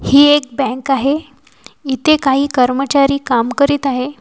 ही एक बँक आहे इथे काही कर्मचारी काम करीत आहे.